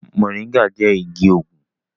Mọ̀ríngà jẹ igi òògùn